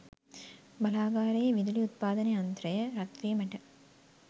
බලාගාරයේ විදුලි උත්පාදන යන්ත්‍රය රත්වීමට